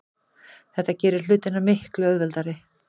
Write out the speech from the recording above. Þetta gerir hlutina miklu auðveldari.